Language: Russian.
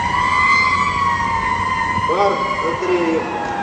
марк андреев